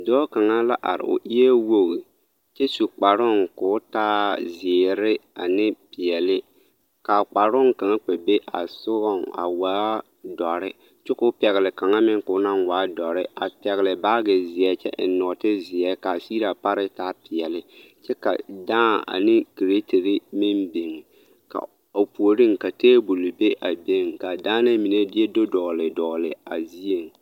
Dɔɔ kaŋa la are, o eɛ wogi kyɛ su kparoŋ k'o taa zeere ane peɛle k'a kparoŋ kaŋa kpɛ be a sogɔŋ a waa dɔre kyɛ k'o naŋ pɛgele kaŋa meŋ k'o waa dɔre, a pɛgele baagi zeɛ kyɛ eŋ nɔɔte zeɛ k'a sigire a paree taa peɛle kyɛ ka dãã ane kiretiri meŋ biŋ ka o puoriŋ ka teebol be a a beŋ k'a daanɛɛ mine do dɔgele dɔgele a zieŋ.